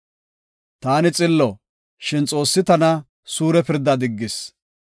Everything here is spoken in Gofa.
“Iyyobi, ‘Taani xillo; shin Xoossi tana suure pirdaa diggis.